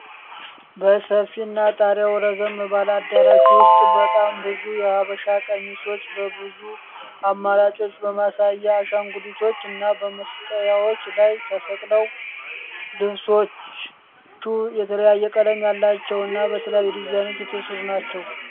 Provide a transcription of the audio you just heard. በሰፊ እና ጣሪያው ረዘም ባለ አዳራሽ ዉስጥ በጣም ብዙ የሃበሻ ቀሚሶች በብዙ አማራጮች በማሳያ አሻንጉሊቶች እና በመስቀያዎች ላይ ተሰቅለዋል። ልብሶቹ የተለያየ ቀለም ያላቸው እና በተለያየ ዲዛይን የተሰሩ ናቸው።